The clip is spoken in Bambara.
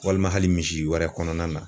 Walima hali misiwɛrɛ kɔnɔna na